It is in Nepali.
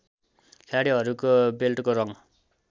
खेलाडीहरुको बेल्टको रङ